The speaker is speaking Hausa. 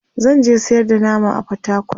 zanje sayar da nama a portacol